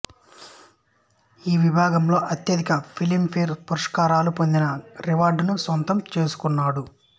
ఈ విభాగంలో అత్యధిక ఫిలిం ఫేర్ పురస్కారాలు పొందిన రికార్డును స్వంతం చేసుకున్నాడు